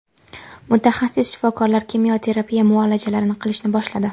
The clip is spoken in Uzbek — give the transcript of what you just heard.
Mutaxassis shifokorlar kimyo terapiya muolajalarini qilishni boshladi.